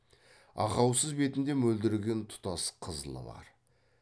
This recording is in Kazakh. ақаусыз бетінде мөлдіреген тұтас қызылы бар